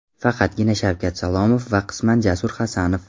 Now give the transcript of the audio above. Faqatgina Shavkat Salomov va qisman Jasur Hasanov.